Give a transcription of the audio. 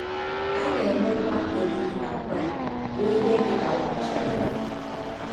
A na - emekwa ọrịrị na nkwari rụọ ihe dị ka ụbọchị atọ.